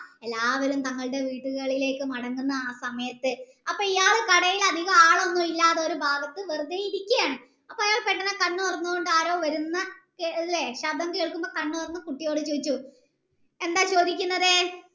എല്ലാവരും തങ്ങളുടെ വീടുകളിലേക്കു മടങ്ങുന്ന ആ സമയത്ത് ആപ്പോ ഇയാൾ കടയിൽ അധികം ആളുകളൊന്നുല്യാതൊരു ഭഗത് വെറുതെ ഇരിക്കാണ് അപ്പൊ അയാൾ പെട്ടന് കണ്ണ് തുറന്നു കൊണ്ട് ആരോ വരുന്ന അല്ലെ ശബ്ദം കേൾക്കുമ്പോ കുട്ടോയോട് ചോയ്ച്ചു എന്താ ചോയ്ക്കുന്നത്